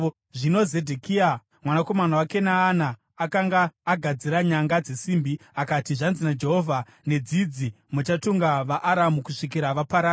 Zvino Zedhekia mwanakomana waKenaana akanga agadzira nyanga dzesimbi, akati, “Zvanzi naJehovha: ‘Nedzidzi muchatunga vaAramu kusvikira vaparara!’ ”